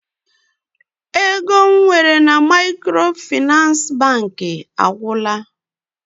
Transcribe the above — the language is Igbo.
Ego m nwere na Maịkrofịnansị Bankị agwụla.